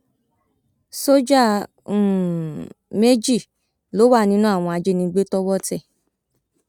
sójà um méjì ló wà nínú àwọn ajínigbé tọwọ tẹ